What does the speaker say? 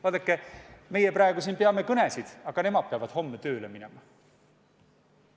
Vaadake, meie praegu peame siin kõnesid, aga nemad peavad homme tööle minema.